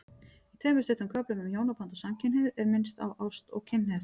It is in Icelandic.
Í tveimur stuttum köflum um hjónaband og samkynhneigð er minnst á ást og kynhneigð.